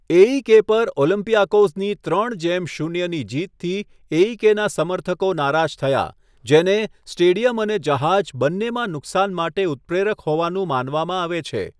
AEK પર ઓલમ્પિયાકોઝની ત્રણ જેમ શૂન્ય ની જીતથી એઈકેના સમર્થકો નારાજ થયા, જેને સ્ટેડિયમ અને જહાજ બંનેમાં નુકસાન માટે ઉત્પ્રેરક હોવાનું માનવામાં આવે છે.